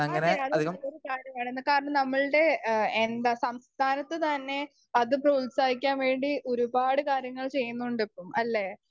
Speaker 1 അതെ. അത് നല്ലൊരു കാര്യമാണ് കാരണം നമ്മൾടെ എഹ് എന്താ സംസ്ഥാനത്ത് തന്നെ അത് പ്രോത്സാഹിക്കാൻ വേണ്ടി ഒരുപാട് കാര്യങ്ങൾ ചെയ്യുന്നുണ്ട് ഇപ്പം അല്ലേ?